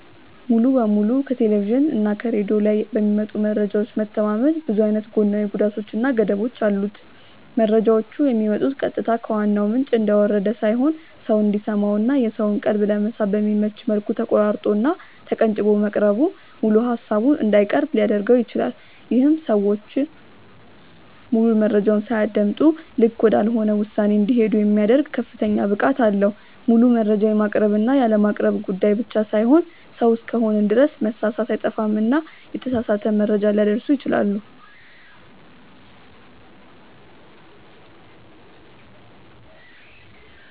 ሙሉ በሙሉ ከቴሌቭዥን እና ከሬድዮ ላይ በሚመጡ መረጃዎች መተማመን ብዙ አይነት ጎናዊ ጉዳቶች እና ገደቦች አሉት። መረጃዎቹ የሚመጡት ቀጥታ ከዋናው ምንጭ እንደወረደ ሳይሆን ሰው እንዲሰማው እና የሰውን ቀልብ ለመሳብ በሚመች መልኩ ተቆራርጦ እና ተቀንጭቦ መቅረቡ ሙሉ ሃሳቡን እንዳይቀርብ ሊያድርገው ይችላል። ይሄም ሰዎች ሙሉ መረጃውን ሳያደምጡ ልክ ወዳልሆነ ውሳኔ እንዲሄዱ የሚያደርግ ከፍተኛ ብቃት አለው። ሙሉ መረጃ የማቅረብ እና ያለማቅረብ ጉዳይ ብቻ ሳይሆን ሰው እስከሆንን ድረስ መሳሳት አይጠፋምና የተሳሳተ መረጃ ሊያደርሱ ይችላሉ።